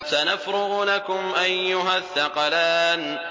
سَنَفْرُغُ لَكُمْ أَيُّهَ الثَّقَلَانِ